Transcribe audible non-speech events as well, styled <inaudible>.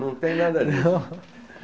Não tem nada disso. Não? <laughs>